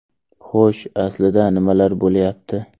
Xo‘sh, aslida nimalar bo‘lyapti?